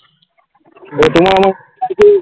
তো তোমার আমার কিছু